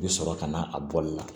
I bi sɔrɔ ka na a bɔli la